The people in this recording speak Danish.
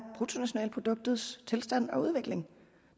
bruttonationalproduktets tilstand og udvikling